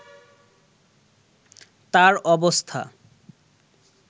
তার অবস্থা